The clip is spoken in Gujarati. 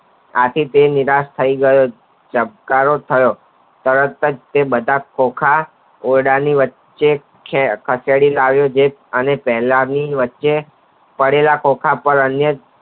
આપે તે નિરાશા થાય જાય ચબકારો થયો તરત જ તે બધા ખોખા ઓરડાની વચ્ચે ખસેડી લાવી અને જે પહેલા ઈ ની વચ્ચે કરેલા ખોખા પર અન્ય